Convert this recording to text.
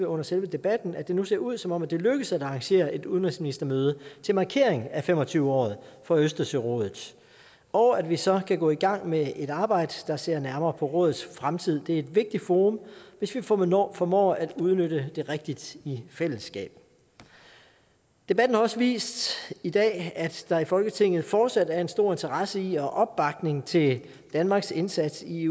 under selve debatten at det nu ser ud som om det lykkes at arrangere et udenrigsministermøde til markering af fem og tyve året for østersørådet og at vi så kan gå i gang med et arbejde der ser nærmere på rådets fremtid det er et vigtigt forum hvis vi formår formår at udnytte det rigtigt i fællesskab debatten har også vist i dag at der i folketinget fortsat er en stor interesse i og opbakning til danmarks indsats i